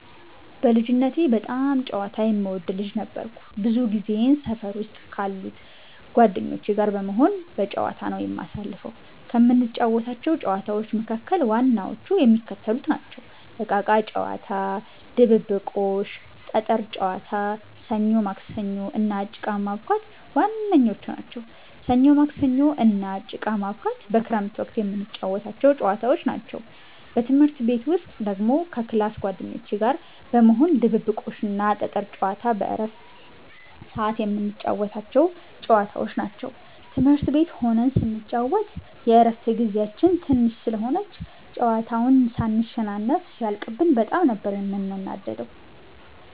በልጅነቴ በጣም ጨዋታ የምወድ ልጅ ነበርኩ። ብዙ ጊዜየን ሰፈር ውስጥ ካሉት ጓደኞቼ ጋር በመሆን በጫወታ ነዉ የማሳልፈው። ከምንጫወታቸው ጨዋታዎች መካከል ዋናዎቹ የሚከተሉት ናቸው። እቃቃ ጨዋታ፣ ድብብቆሽ፣ ጠጠር ጨዋታ፣ ሰኞ ማክሰኞ እና ጭቃ ማቡካት ዋነኞቹ ናቸው። ሰኞ ማክሰኞ እና ጭቃ ማቡካት በክረምት ወቅት የምንጫወታቸው ጨዋታዎች ናቸው። በትምህርት ቤት ውስጥ ደግሞ ከ ክላስ ጓደኞቼ ጋር በመሆን ድብብቆሽ እና ጠጠር ጨዋታ በረፍት ሰዓት የምንጫወታቸው ጨዋታዎች ናቸው። ትምህርት ቤት ሆነን ስንጫወት የረፍት ጊዜያችን ትንሽ ስለሆነች ጨዋታውን ሳንሸናነፍ ሲያልቅብን በጣም ነበር የምንናደደው።